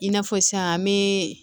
I n'a fɔ sisan an be